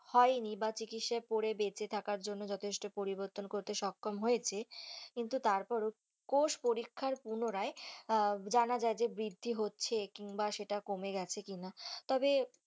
হয়নি বাঃ চিকিৎসা করে বেঁচে থাকার জন্য যথেষ্ট চেষ্টা পরিবর্তন করতে সক্ষম হয়েছে কিন্তু তারপরও কোষ পরীক্ষায় পুনরায় জানা যায় যে বৃদ্ধি হচ্ছে কিংবা সেটা কমে গেছে কি না? তবে,